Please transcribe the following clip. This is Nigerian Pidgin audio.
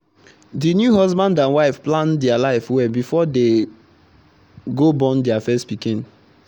the new husband and wife plan their life well before they go born their first pikin